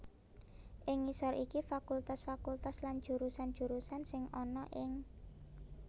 Ing ngisor iki fakultas fakultas lan jurusan jurusan sing ana ing